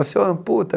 O senhor amputa?